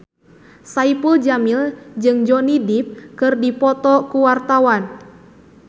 Saipul Jamil jeung Johnny Depp keur dipoto ku wartawan